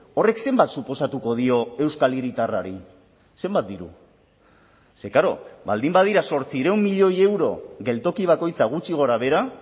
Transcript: horrek zenbat suposatuko dio euskal hiritarrari zenbat diru ze klaro baldin badira zortziehun milioi euro geltoki bakoitza gutxi gorabehera